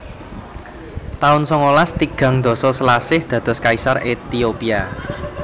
taun songolas tigang dasa Selasih dados Kaisar Ethiopia